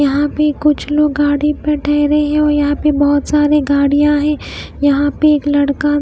यहां पे कुछ लोग गाड़ी पर ठहरे हैं और यहां पे बहुत सारी गाड़ियां हैं यहां पे एक लड़का--